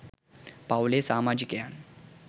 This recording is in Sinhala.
පවුලේ සාමාජිකයන්